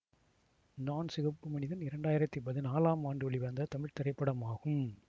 நான் சிகப்பு மனிதன் இரண்டாயிரத்தி பதினாலாம் ஆண்டு வெளிவந்த தமிழ் திரைப்படம் ஆகும்